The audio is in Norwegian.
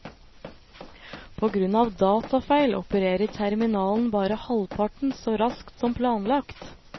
På grunn av datafeil opererer terminalen bare halvparten så raskt som planlagt.